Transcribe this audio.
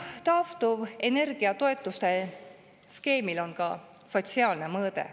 Taastuvenergia toetuse skeemil on ka sotsiaalne mõõde.